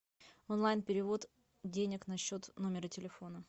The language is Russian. онлайн перевод денег на счет номера телефона